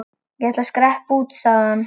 Ég ætla að skreppa út, sagði hann.